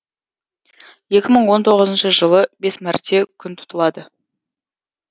екі мың он тоғызыншы жылы бес мәрте күн тұтылады